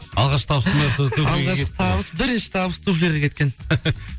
алғашқы табысым алғашқы табыс бірінші табыс туфлиға кеткен